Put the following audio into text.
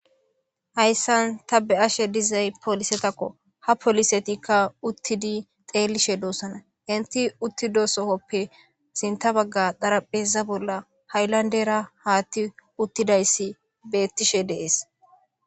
hayssan ta be7ashe dizay polisetakko ha polisetikka uttidi xeelishe doossana inti uttido sohoppe sinta bagga dharapheza bolla haylandera haatti uttidayssi bettishe dees